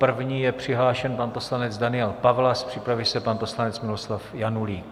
První je přihlášen pan poslanec Daniel Pawlas, připraví se pan poslanec Miloslav Janulík.